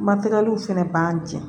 Matɛliw fɛnɛ b'an jɛn